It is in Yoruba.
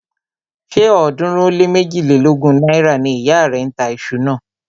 Ṣé ọ̀ọ́dúnrún ó lé méjilélógún náírà ni ìyá rẹ̀ ń tà iṣu náà?